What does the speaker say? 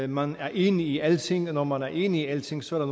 man er enig i alle ting og når man er enig i alting så er